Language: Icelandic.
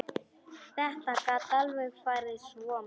Þetta gat alveg farið svona.